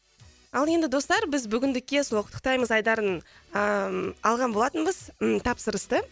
ал енді достар біз бүгіндікке сол құттықтаймыз айдарын а алған болатынбыз ы тапсырысты